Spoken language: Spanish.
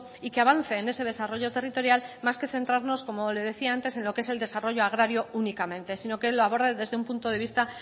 y que avance en ese desarrollo territorial más que centrarnos como le decía antes en lo que es el desarrollo agrario únicamente sino que lo aborda desde un punto de vista